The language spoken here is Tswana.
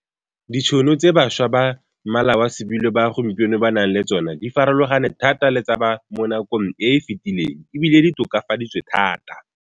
Ditšhono tse bašwa ba mmala wa sebilo ba gompieno ba nang le tsona di farologane thata le tsa ba mo nakong e efetileng e bile di tokafaditswe thata.